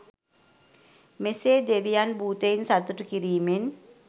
මෙසේ දෙවියන් භූතයින් සතුටු කිරීමෙන්